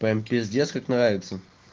прям пиздец как нравится